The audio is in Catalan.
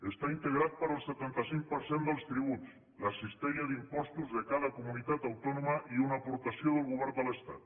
està integrat pel setanta cinc per cent dels tributs la cistella d’impostos de cada comunitat autònoma i una aportació del govern de l’estat